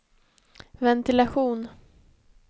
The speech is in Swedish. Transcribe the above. ventilation